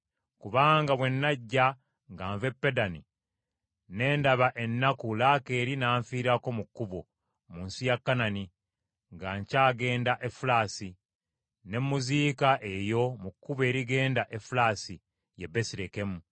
Kubanga bwe najja ng’ava e Paddani, ne ndaba ennaku Laakeeri n’anfiirako mu kkubo mu nsi ya Kanani, nga nkyagenda Efulasi; ne mmuziika eyo mu kkubo erigenda Efulasi, ye Besirekemu.”